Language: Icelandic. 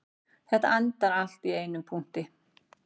Þetta endar allt í einum punkti